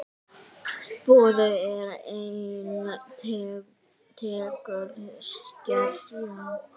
Boði: er ein tegund skerja.